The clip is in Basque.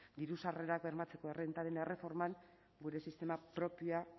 diru sarrerak bermatzeko errentaren erreforman gure sistema propioa